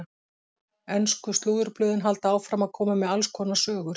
Ensku slúðurblöðin halda áfram að koma með alls konar sögur.